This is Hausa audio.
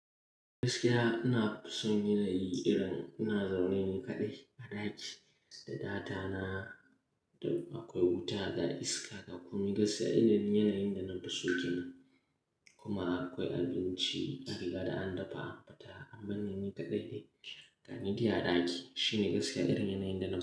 Gaskiya ina son yanayi irin ina zaune ni kaɗai a ɗaki da data na. Akwai wuta da iska, dakuma gaskiya irin yanayin da na fi so kenan. Kuma akwai abinci, an riga da an dafa, amma ni kaɗai ne. Ga ni, iya ɗaki shine gaskiya irin yanayin da na.